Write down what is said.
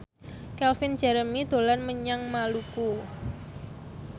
Calvin Jeremy dolan menyang Maluku